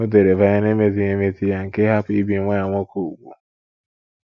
O dere banyere emezighị emezi ya nke ịhapụ ibi nwa ya nwoke úgwù.